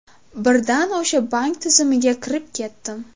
Birdan o‘sha bank tizimiga kirib ketdim.